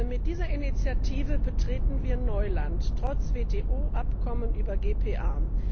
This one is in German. Mit dieser Initiative betreten wir Neuland trotz WTO Abkommen über GPA.